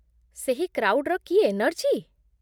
ସେହି କ୍ରାଉଡ଼୍‌ର କି ଏନର୍ଜି !